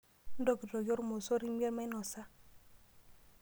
Ntokitokie ormosor imiet mainosa.